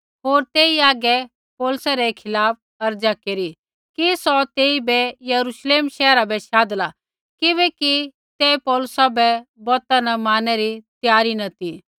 होर तेई हागै पौलुसै रै खिलाफ़ अर्ज़ा केरी कि सौ तेइबै यरूश्लेम शैहरा बै शाधला किबैकि ते पौलुसा बै बौता मारनै री त्यारी न ती